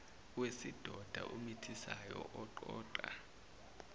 wesidoda omithisayo oqoqa